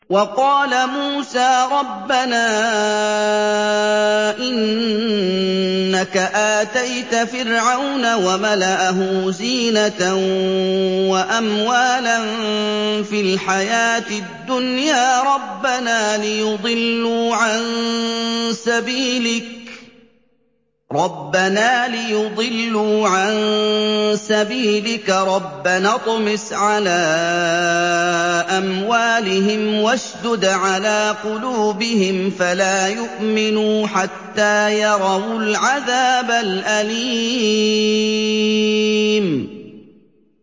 وَقَالَ مُوسَىٰ رَبَّنَا إِنَّكَ آتَيْتَ فِرْعَوْنَ وَمَلَأَهُ زِينَةً وَأَمْوَالًا فِي الْحَيَاةِ الدُّنْيَا رَبَّنَا لِيُضِلُّوا عَن سَبِيلِكَ ۖ رَبَّنَا اطْمِسْ عَلَىٰ أَمْوَالِهِمْ وَاشْدُدْ عَلَىٰ قُلُوبِهِمْ فَلَا يُؤْمِنُوا حَتَّىٰ يَرَوُا الْعَذَابَ الْأَلِيمَ